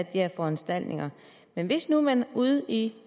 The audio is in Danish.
her foranstaltninger men hvis nu man ude i